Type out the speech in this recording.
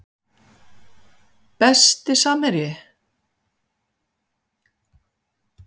Besti samherji?